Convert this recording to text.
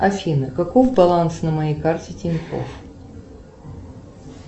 афина каков баланс на моей карте тинькофф